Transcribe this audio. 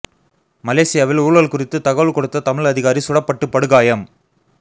மலேசியாவில் ஊழல் குறித்து தகவல் கொடுத்த தமிழ் அதிகாரி சுடப்பட்டு படுகாயம்